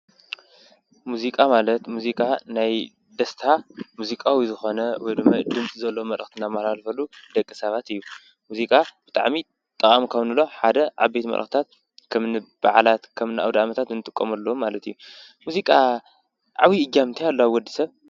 ሙዚቃ ማለት ሙዚቃ ናይ ደስታ ሙዚቃዊ ዝኮነ መልእክቲ ዝመሓላለፈ ደቂ ሰባት እዩ፡፡ ሙዚቃ ጠቃሚ ካብ እንብሎም ሓደ ዓበይቲ መልእክትታት ከምኒ በዓላት ከምኒ ኣውደኣመታት እንጥቀመሎም ማለት እዩ፡፡ ሚዚቃ ዓብይ እጃም እንታይ ኣለዎ ኣብ ወድሰብ?